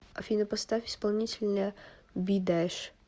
афина поставь исполнителя бидэш